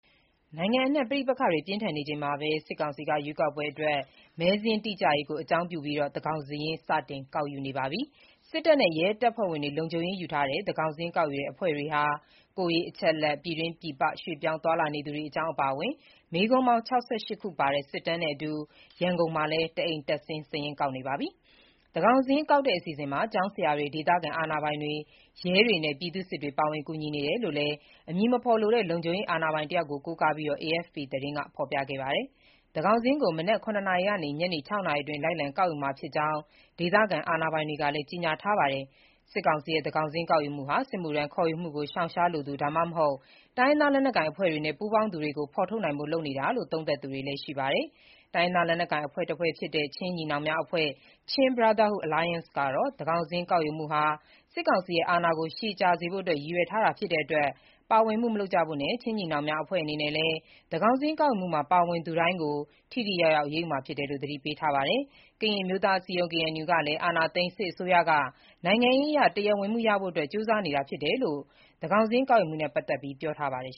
နိုင်ငံအနှံ့ ပဋိပက္ခတွေပြင်းထန်နေချိန်မှာပဲ စစ်ကောင်စီက ရွေးကောက်ပွဲအတွက် မဲစာရင်းတိကျရေးကို အကြောင်းပြုပြီး သန်းခေါင်စာရင်း စတင်ကောက်ယူနေပါပြီ။ စစ်တပ်နဲ့ ရဲတပ်ဖွဲ့ဝင်တွေ လုံခြုံရေးယူထားတဲ့ သန်းခေါင်စာရင်းကောက်ယူတဲ့အဖွဲ့တွေဟာ ကိုယ်ရေးအချက်အလက်၊ ပြည်တွင်း ပြည်ပရွေ့ပြောင်းသွားလာနေသူတွေအကြောင်း အပါအဝင် မေးခွန်းပေါင်း ၆၈ ခုပါတဲ့ စစ်တမ်းနဲ့အတူ ရန်ကုန်မှာလည်း တအိမ်တက်ဆင်း စာရင်းကောက်နေပါတယ်။ သန်းခေါင်စာရင်းကောက်တဲ့ အစီအစဉ်မှာ ကျောင်းဆရာတွေ၊ ဒေသခံအာဏာပိုင်တွေ၊ ရဲတွေနဲ့ ပြည်သူ့စစ်တွေ ပါဝင်ကူညီနေတယ်လို့လည်း အမည်မဖော်လိုတဲ့ လုံခြုံရေး အာဏာပိုင်တယောက်ကို ကိုးကားပြီး AFP သတင်းက ဖော်ပြခဲ့တာပါ။ သန်းခေါင်းစာရင်းကို မနက် ၇ နာရီကနေ ညနေ ၆ နာရီအတွင်း လိုက်လံကောက်ယူမှာဖြစ်ကြောင်း ဒေသခံ အာဏာပိုင်တွေကလည်း ကြေညာထားပါတယ်။ စစ်ကောင်စီရဲ့ သန်းခေါင်စာရင်းကောက်ယူမှုဟာ စစ်မှုထမ်းခေါ်ယူမှုကို ရှောင်ရှားလိုသူ ဒါမှမဟုတ် တိုင်းရင်းသားလက်နက်ကိုင်အဖွဲ့တွေနဲ့ ပူးပေါင်းသူတွေကို ဖောိထုတ်နိုင်ဖို့ လုပ်နေတာလို့ သုံးသပ်သူတွေလည်း ရှိနေပါတယ်။ တိုင်းရင်းသား လက်နက်ကိုင်အဖွဲ့တစ်ဖွဲ့ဖြစ်တဲ့ ချင်းညီနောင်များအဖွဲ့ (Chin Brotherhood Alliance) ကတော့ သန်းခေါင်စာရင်း ကောက်ယူမှုဟာ စစ်ကောင်စီရဲ့ အာဏာကို ရှည်ကြာစေရန်ဖို့ ရည်ရွယ်ထားတာဖြစ်တဲ့အတွက် ပါဝင်မှု မလုပ်ကြဖို့နဲ့ ချင်းညီနောင်များအဖွဲ့အနေနဲ့လည်း သန်းခေါင်စာရင်းကောက်ယူမှုတွင် ပါဝင်သူတိုင်းကို ထိထိရောက်ရောက် အရေးယူမှာဖြစ်တယ်လို့ သတိပေးထားပါတယ်။ ကရင်အမျိုးသား အစည်းအရုံး (KNU) ကလည်း အာဏာသိမ်း စစ်အစိုးရက နိုင်ငံရေးအရ တရားဝင်မှုရဖို့အတွက် ကြိုးစားနေတာဖြစ်တယ်လို့ သန်းခေါင်စာရင်း ကောက်ယူမှုနဲ့ ပတ်သက်ပြီး ပြောထားပါတယ်